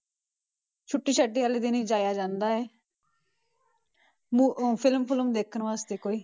ਛੁੱਟੀ ਛਾਟੀ ਵਾਲੇ ਦਿਨ ਹੀ ਜਾਇਆ ਜਾਂਦਾ ਹੈ ਮੂ~ film ਫੁਲਮ ਦੇਖਣ ਵਾਸਤੇ ਕੋਈ।